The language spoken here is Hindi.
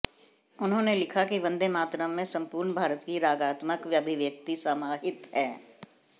उन्होंने लिखा कि वंदे मातरण में संपूर्ण भारत की रागात्मक अभिव्यक्ति समाहित है